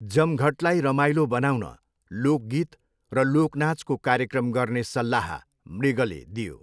जमघटलाई रमाइलो बनाउन लोकगीत र लोकनाचको कार्यक्रम गर्ने सल्लाह मृगले दियो।